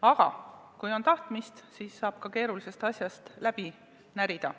Aga kui on tahtmist, siis saab ka keerulisest asjast läbi närida.